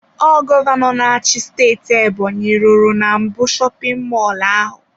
Ọ gọvanọ na-achị steeti Ebonyi rụrụ na mbụ shopin mọlụ ahụ.